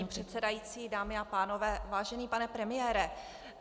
Paní předsedající, dámy a pánové, vážený pane premiére.